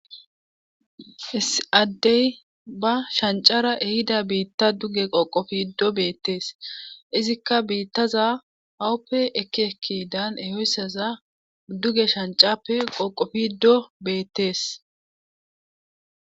Issi adey ba shancara ehida biita duge qoqqofido beettes izikka biitaza awupe ekki ekkidan ehoysaza duge shancape qoqofido beettes.